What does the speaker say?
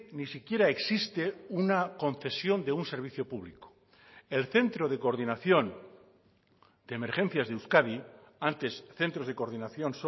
ni siquiera existe una concesión de un servicio público el centro de coordinación de emergencias de euskadi antes centros de coordinación